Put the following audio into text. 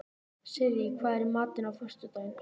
Sirrí, hvað er í matinn á föstudaginn?